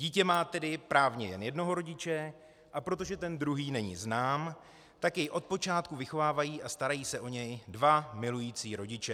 Dítě má tedy právně jen jednoho rodiče, a protože ten druhý není znám, tak jej od počátku vychovávají a starají se o ně dva milující rodiče.